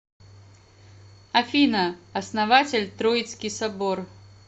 афина основатель троицкий собор